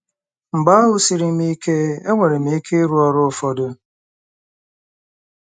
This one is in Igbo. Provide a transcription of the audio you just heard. Mgbe ahụ́ siri m ike, enwere m ike ịrụ ọrụ ụfọdụ.